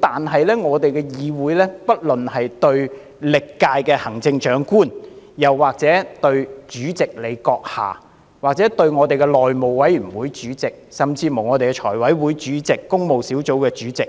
但是，在我們的議會內，不論是對歷屆行政長官，或立法會主席、內務委員會主席甚至財務委員會、工務小組委員會的主席，